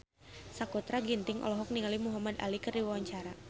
Sakutra Ginting olohok ningali Muhamad Ali keur diwawancara